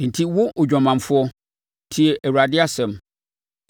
“ ‘Enti, wo odwamanfoɔ, tie Awurade asɛm!